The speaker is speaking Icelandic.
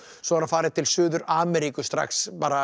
svo er hann farinn til Suður Ameríku strax